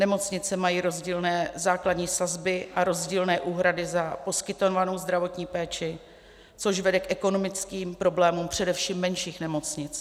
Nemocnice mají rozdílné základní sazby a rozdílné úhrady za poskytovanou zdravotní péči, což vede k ekonomickým problémům především menších nemocnic.